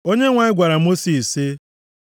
Onyenwe anyị gwara Mosis sị,